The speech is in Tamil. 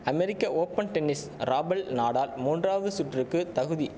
அமெரிக்க ஓப்பன் டென்னிஸ் ராபல் நடால் மூன்றாவது சுற்றுக்கு தகுதி